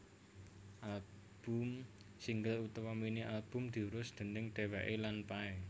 Album single utawa mini albumé diurus déning dheweké lan Pay